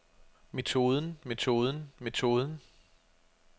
metoden metoden metoden